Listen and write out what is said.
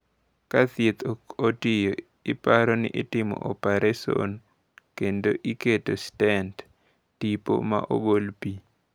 Ka thieth ok tiyo, iparo ni itimo opereson kendo iketo stent (tipo ma golo pi).